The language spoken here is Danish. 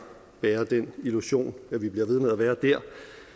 nærer den illusion at vi bliver ved med at være der